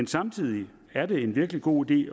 samtidig er det en virkelig god idé